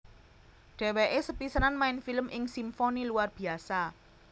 Dheweke sepisanan main film ing Simfoni Luar Biasa